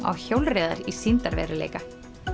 af hjólreiðum í sýndarveruleika